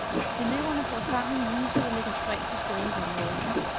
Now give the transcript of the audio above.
Eleverne bor i sammen i huse, der ligger spredt på skolens område.